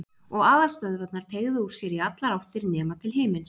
Og aðalstöðvarnar teygðu úr sér í allar áttir nema til himins.